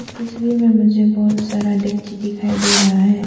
तस्वीर में मुझे बहुत सारा डक्ची दिखाई दे रहा है।